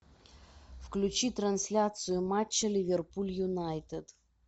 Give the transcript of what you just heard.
включи трансляцию матча ливерпуль юнайтед